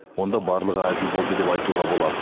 онда барлығы әділ болды деп айтуға болады